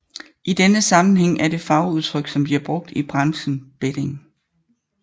I denne sammenhæng er det fagudtryk som bliver brugt i branchen betting